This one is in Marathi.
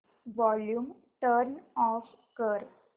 वॉल्यूम टर्न ऑफ कर